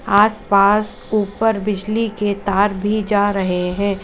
आस पास ऊपर बिजली के तार भी जा रहे है।